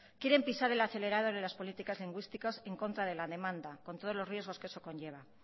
quieren pisar el acelerador en las políticas lingüísticas en contra de la demanda con todos los riesgos que eso conlleva